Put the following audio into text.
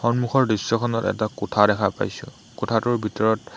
সন্মুখৰ দৃশ্যখনত এটা কোঠা দেখা পাইছোঁ কোঠাটোৰ ভিতৰত --